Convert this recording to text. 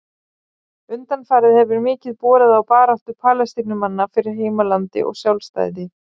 Undanfarið hefur mikið borið á baráttu Palestínumanna fyrir heimalandi og sjálfstæði.